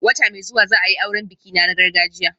Wata mai zuwa za a yi auren bikina na gargajiya